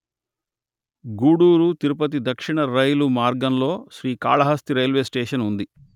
గూడూరు తిరుపతి దక్షిణ రైలు మార్గంలో శ్రీకాళహస్తి రైల్వే స్టేషన్ ఉంది